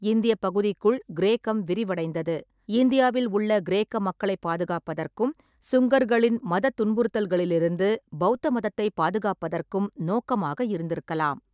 இந்தியப் பகுதிக்குள் கிரேக்கம் விரிவடைந்தது, இந்தியாவில் உள்ள கிரேக்க மக்களைப் பாதுகாப்பதற்கும், சுங்கர்களின் மதத் துன்புறுத்தல்களிலிருந்து பெளத்த மதத்தைப் பாதுகாப்பதற்கும் நோக்கமாக இருந்திருக்கலாம்.